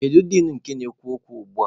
Kedu din nke na-ekwu okwu ugbua?